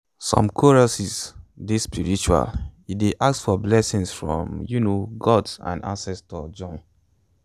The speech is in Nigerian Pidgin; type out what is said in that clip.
some choruses dey spiritual e dey ask for blessings from um god and ancestors join.